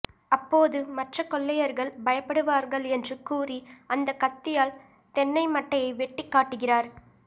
அப்போது மற்ற கொள்ளையர்கள் பயப்படுவார்கள் என்று கூறி அந்த கத்தியால் தென்னை மட்டையை வெட்டி காட்டுகிறார்